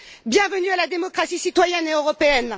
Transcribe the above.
Bienvenue à la démocratie citoyenne et européenne!